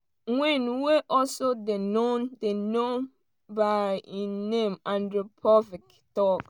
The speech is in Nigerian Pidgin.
wynne wey also dey known dey known by di name andrew povich tok.